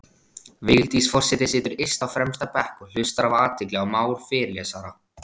Vigdís forseti situr yst á fremsta bekk og hlustar af athygli á mál fyrirlesara.